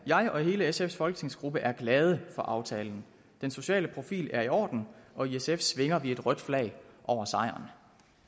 jeg og hele sfs folketingsgruppe er glade for aftalen den sociale profil er i orden og i sf svinger vi det røde flag over sejren